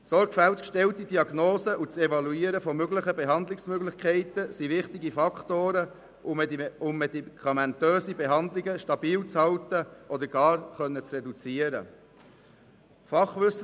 Sorgfältig gestellte Diagnosen und das Evaluieren von Behandlungsmöglichkeiten sind wichtige Faktoren, um medikamentöse Behandlungen stabil zu halten oder gar reduzieren zu können.